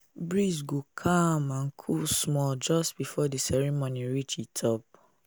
breeze go calm and cool small just before the ceremony reach e top.